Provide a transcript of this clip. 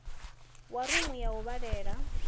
wa rumu ya u vhalela